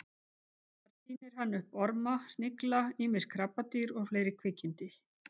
Þar tínir hann upp orma, snigla, ýmis krabbadýr og fleiri kvikindi.